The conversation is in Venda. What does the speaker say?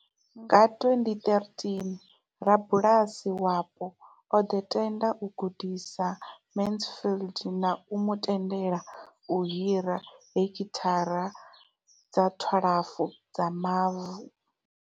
Nga 2013, rabulasi wapo o ḓo tenda u gudisa Mansfield na u mu tendela u hira hekithara dza 12 dza mavu.